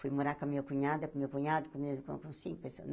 Fui morar com a minha cunhada, com o meu cunhado, com o meu irmão, com cinco pessoas.